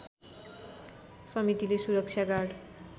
समितिले सुरक्षा गार्ड